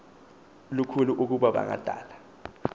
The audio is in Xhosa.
lukhulu ukuba bangadala